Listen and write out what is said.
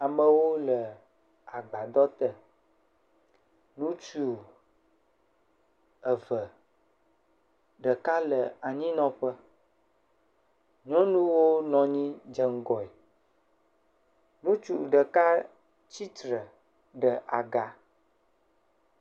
Amewo le agbaɖɔ te. Ŋutsu eve, ɖeka le anyi nɔƒe. Nyɔnuwo nɔ anyi dze ŋgɔe. Ŋutsu ɖeka tsitre ɖe agba.